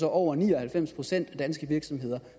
over ni og halvfems procent af danske virksomheder